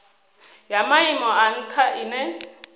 ya maimo a ntha ine